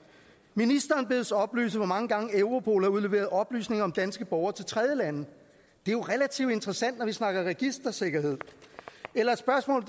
ministeren bedes oplyse hvor mange gange europol har udleveret oplysninger om danske borgere til tredjelande det er jo relativt interessant når vi snakker registersikkerhed eller et spørgsmål